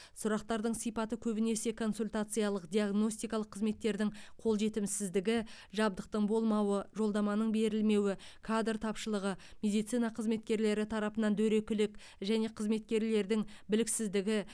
сұрақтардың сипаты көбінесе консультациялық диагностикалық қызметтердің қолжетімсіздігі жабдықтың болмауы жолдаманың берілмеуі кадр тапшылығы медицина қызметкерлері тарапынан дөрекілік және қызметкерлердің біліксіздігі